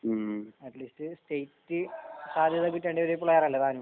At least state സാധ്യത കിട്ടേണ്ട ഒരു പ്ലെയർ അല്ലേ താനും. .